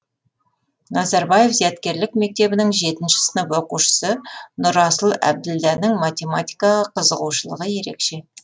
назарбаев зияткерлік мектебінің жетінші сынып оқушысы нұрасыл әбділданың математикаға қызығушылығы ерекше